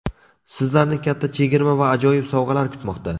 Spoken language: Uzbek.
Sizlarni katta chegirma va ajoyib sovg‘alar kutmoqda.